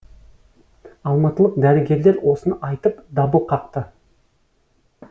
алматылық дәрігерлер осыны айтып дабыл қақты